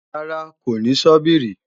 Rárá, kò ní sọ́bìrì